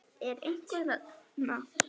Er einhver þarna?